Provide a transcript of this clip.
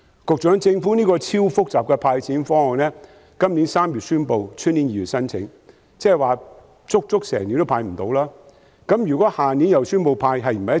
局長，政府這項極其複雜的"派錢"方案在今年3月宣布，明年2月才開始接受申請，即是整整1年仍未能"派錢"。